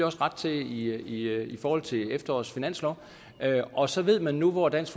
også ret til i forhold til efterårets finanslov og så ved man nu hvor dansk